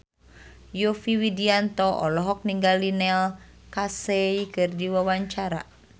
Yovie Widianto olohok ningali Neil Casey keur diwawancara